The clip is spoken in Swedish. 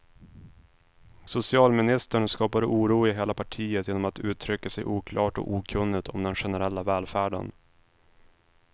Socialministern skapar oro i hela partiet genom att uttrycka sig oklart och okunnigt om den generella välfärden.